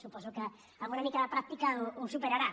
suposo que amb una mica de pràctica ho superarà